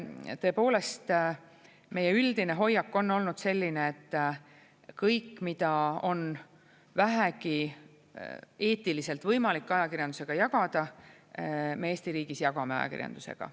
Tõepoolest, meie üldine hoiak on olnud selline, et kõik, mida on vähegi eetiliselt võimalik ajakirjandusega jagada, me Eesti riigis jagame ajakirjandusega.